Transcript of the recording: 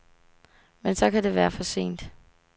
Men så kan det være for sent.